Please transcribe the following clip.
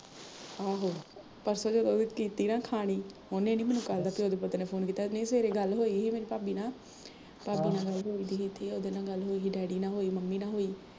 ਆਹੋ, ਪਰਸੋਂ ਜਹੇ ਉਹ ਵੀ ਕੀਤੀ ਨਾ ਖਾਣੀ, ਉਹਨੇ ਨੀ ਮੈਨੂੰ ਕੱਲ ਦਾ ਪਿਉ ਦੇ ਪੁੱਤ ਨੇ phone ਕੀਤਾ, ਨਹੀਂ ਸਵੇਰੇ ਗੱਲ ਹੋਈ ਸੀ ਮੇਰੀ ਭਾਬੀ ਨਾਲ ਅਹ ਭਾਬੀ ਨਾਲ਼ ਗੱਲ ਹੋਈ ਸੀ, ਉਹਦੇ ਨਾਲ਼ ਹੋਈ, ਡੈਡੀ ਨਾਲ਼ ਹੋਈ, ਮੰਮੀ ਨਾਲ਼ ਹੋਈ